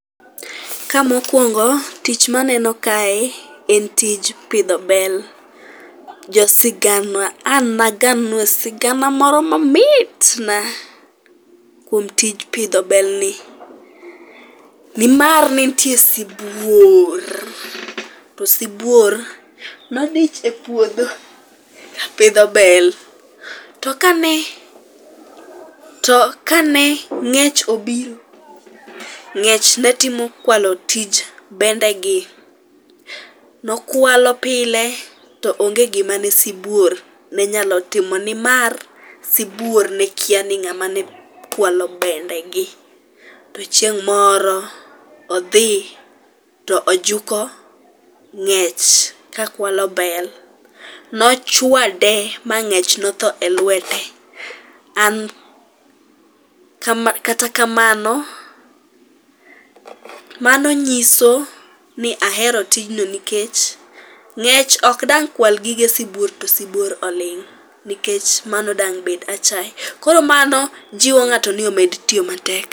Ka mokwongo, tich maneno kae en tij pidho bel. Josigana, an agannu sigana moro mamit na kuom tij pidho belni. Nimar ne nitie sibuor, to sibuor nodich e puodho pidho bel, to kane ng'ech obiro, ng'ech ne timo kwalo tij bendegi. Nokwalo pile to onge gima ne sibuor ne nyalo timo nimar sibuor ne kia ni ng'ama ne kwalo bendegi. To chieng' moro, odhi to oguko ng'ech ka kwalo bel, nochwade ma ng'ech notho e lwete. Kata kamano, mano nyiso ni ahero tijno nikech ng'ech ok dang' kwal gige sibuor to sibuor oling', nikech mano dang' bed achaye. Koro mano jiwo ng'ato ni mondo omed tiyo matek.